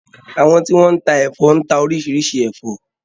Àwọn tí wọ́n ń tá ẹ̀fọ́ ń ta orísirísi ẹ̀fọ́.